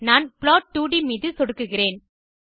நான் plot2ட் மீது சொடுக்குகிறேன்